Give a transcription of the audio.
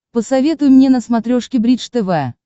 посоветуй мне на смотрешке бридж тв